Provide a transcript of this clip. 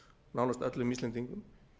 nánast öllum íslendingum